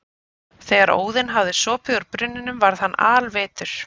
Þegar Óðinn hafði sopið úr brunninum varð hann alvitur.